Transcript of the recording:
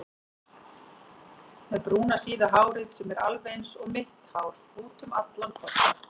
Með brúna síða hárið sem er alveg einsog mitt hár útum allan kodda.